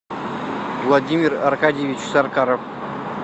владимир аркадьевич саркаров